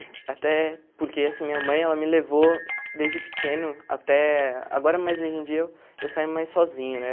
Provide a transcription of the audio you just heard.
Até porque, assim, minha mãe, ela me levou desde pequeno até... Agora, mais hoje em dia, eu saio mais sozinho, né?